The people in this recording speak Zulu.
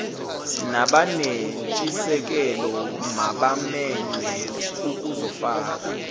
nabanentshisekelo mabamenywe ukuzofaka